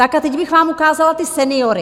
Tak a teď bych vám ukázala ty seniory.